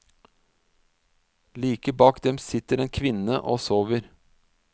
Like bak dem sitter en kvinne og sover.